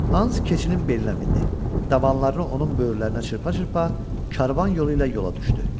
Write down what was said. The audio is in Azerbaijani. Hans keçinin belinə mindi, dabanlarını onun böyürlərinə çırpa-çırpa karvan yolu ilə yola düşdü.